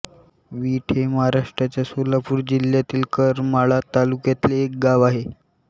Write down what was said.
वीट हे महाराष्ट्राच्या सोलापूर जिल्ह्यातील करमाळा तालुक्यातले एक गाव आहे